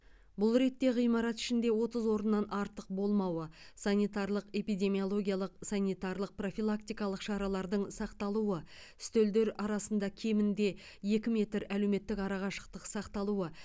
бұл ретте ғимарат ішінде отыз орыннан артық болмауы санитарлық эпидемиологиялық санитарлық профилактикалық шаралардың сақталуы үстелдер арасында кемінде екі метр әлеуметтік арақашықтық сақталуы